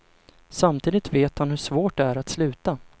Samtidigt vet han hur svårt det är att sluta.